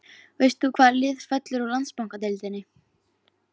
Veist þú hvaða lið fellur úr Landsbankadeildinni?